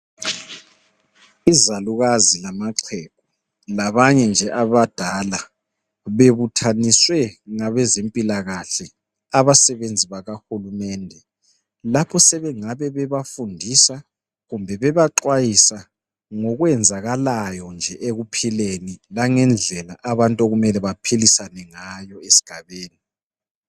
Izalukazi lamaxhegu labanye nje abadala, bebuthaniswe ngabezempilakahle abasebenzi bakahulumende lapho sebengabe bebafundisa kumbe bebaxwayisa ngokwenzakalayo nje ekuphileni langendlela abantu okumele baphilisane ngayo esigabeni.